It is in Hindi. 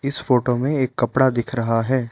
इस फोटो में एक कपड़ा दिख रहा है।